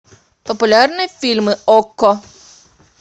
популярные фильмы окко